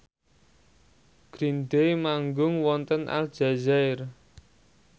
Green Day manggung wonten Aljazair